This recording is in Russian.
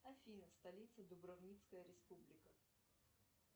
афина столица дубровницкая республика